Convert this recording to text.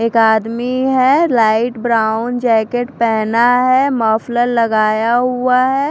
एक आदमी है लाइट ब्राउन जैकेट पहना है मफलर लगाया हुआ है।